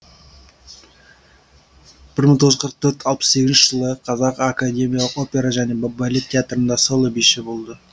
бір мың тоғыз жүз қырық төрт алпыс сегізінші жылы қазақ академиялық опера және балет театрында соло биші болды